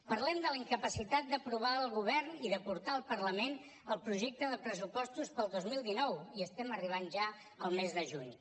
parlem de la incapacitat d’aprovar el govern i de portar al parlament el projecte de pressupostos per al dos mil dinou i estem arribant ja al mes de juny